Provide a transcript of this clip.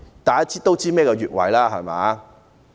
大家也知道何謂越位，對嗎？